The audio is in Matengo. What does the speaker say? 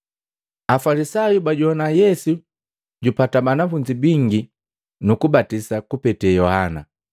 Afalisayu bajowana Yesu jupata banafunzi bingi nukubatisa kupeta Yohana.